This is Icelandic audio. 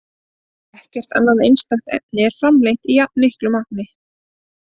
Ekkert annað einstakt efni er framleitt í jafnmiklu magni.